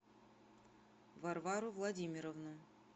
варвару владимировну